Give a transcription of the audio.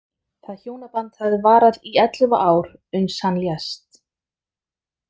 Það hjónaband hafði varað í ellefu ár, uns hann lést.